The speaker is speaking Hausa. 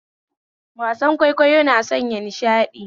Wasan kwaikwayo na sanya nishadi